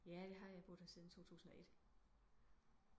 Ja det har jeg jeg har boet her siden 2001